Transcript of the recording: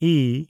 E